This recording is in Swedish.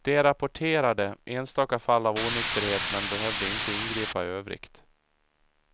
De rapporterade enstaka fall av onykterhet, men behövde inte ingripa i övrigt.